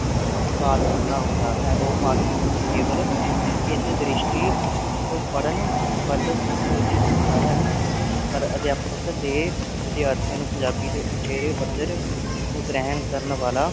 ਪਾਠ ਕਰਨਾ ਹੁੰਦਾ ਹੈ ਉਹ ਪਾਠ ਪੁਸਤਕ ਕੇਵਲ ਇਸੇ ਦ੍ਰਿਸ਼ਟੀ ਤੋਂ ਪੜਨ ਵੱਲ ਉਚਿਤ ਹੁੰਦਾ ਹੈ ਪਰ ਅਧਿਆਪਕ ਦੇ ਵਿਦਿਆਰਥੀਆਂ ਨੂੰ ਪੰਜਾਬੀ ਦੇ ਉਚੇਰੇ ਪੱਧਰ ਨੂੰ ਗ੍ਰਹਿਣ ਕਰਨ ਵਾਲਾ